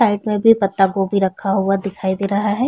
Side में भी पत्ता गोभी रखा हुआ है।